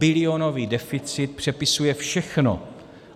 Půlbilionový deficit přepisuje všechno.